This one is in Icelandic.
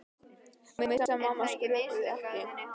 Hún vissi að mamma og pabbi skrökvuðu ekki.